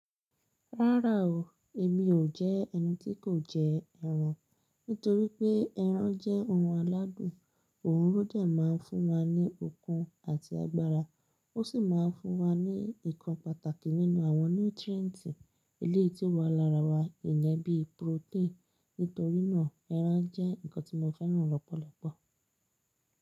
Rárá o, èmi ò jẹ́ ẹni tí kò jẹ ẹran. Nítorí pé ẹran jẹ́ ohun aládùn, òhun ló dé máà ń fún wa ní okun àti agbára, ó sì máa ń fún wa ní nǹkan pàtàkì nínú àwọn nutrientì eléyìí tí ó wà lára wa, ìyẹn bí protein. Nítorínà ẹran jẹ́ nǹkan tí mo fẹ́ràn lọ́pọ̀lọpọ̀.